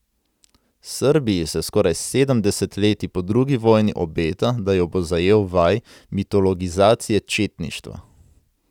Srbiji se skoraj sedem desetletij po drugi vojni obeta, da jo bo zajel val mitologizacije četništva.